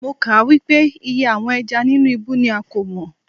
Mo kà á wípé iye àwọn ẹja nínú ibú ni a kò mọ̀.